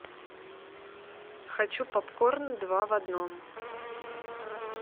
хочу попкорн два в одном